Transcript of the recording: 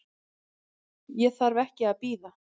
Ég þarf ekki að bíða.